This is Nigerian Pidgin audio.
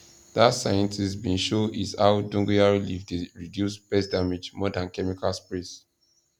that scientist bin show is how dogoyaro leave dey reduce pest damage more than chemical sprays